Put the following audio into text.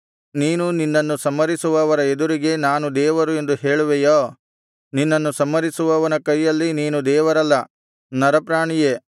ನೀನು ನಿನ್ನನ್ನು ಸಂಹರಿಸುವವರ ಎದುರಿಗೆ ನಾನು ದೇವರು ಎಂದು ಹೇಳುವೆಯೋ ನಿನ್ನನ್ನು ಸಂಹರಿಸುವವನ ಕೈಯಲ್ಲಿ ನೀನು ದೇವರಲ್ಲ ನರಪ್ರಾಣಿಯೇ